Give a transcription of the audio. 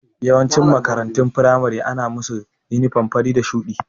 Yawancin makarantun firamare ana musa yunifam fari da shuɗi